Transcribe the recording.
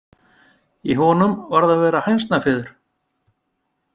Í honum varð að vera hænsnafiður.